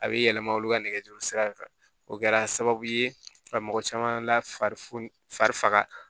A bɛ yɛlɛma olu ka nɛgɛjuru sira in kan o kɛra sababu ye ka mɔgɔ caman lafar